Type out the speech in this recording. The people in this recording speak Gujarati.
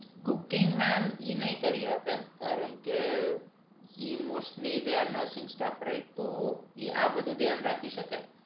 cookingmem i નઈ કરી આપે કારણ કે ઈ mostly they are nursing staff રાખ્યો એ આ બધું ધ્યાન રાખી શકે